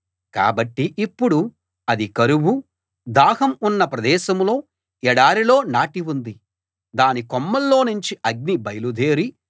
కాబట్టి ఇప్పుడు అది కరువు దాహం ఉన్న ప్రదేశంలో ఎడారిలో నాటి ఉంది దాని కొమ్మల్లోనుంచి అగ్ని బయలుదేరి